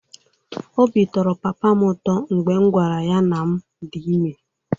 Obi tọrọ papa m ụtọ mgbe m gwara ya na m dị ime.